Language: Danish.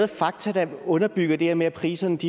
fakta der underbygger det her med at prisernes